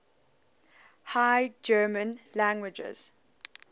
high german languages